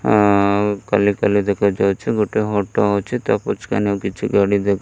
ଆଉ ଖାଲି ଖାଲି ଦେଖାଯାଉଛି। ଗୋଟେ ଅଟ ଅଛି। ତା ପଛକାନେ ଆଉ କିଛି ଗାଡ଼ି ଦେ --